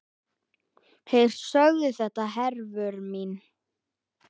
Þeir sögðu þetta, Hervör mín.